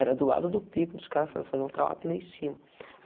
Era do lado do pico, dos cara fa fazendo trawap lá em cima.